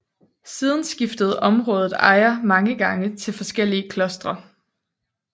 Siden skiftede området ejer mange gange til forskellige klostre